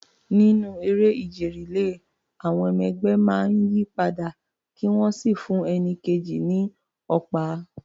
Nínú eré ìje relay, àwọn ọmọ ẹgbẹ́ máa ń yí padà kí wọ́n sì fún ẹni kejì ní ọ̀pá.